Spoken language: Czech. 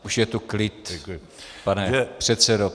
Už je tu klid, pane předsedo.